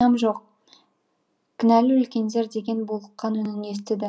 күнәм жоқ кінәлі үлкендер деген булыққан үнін естіді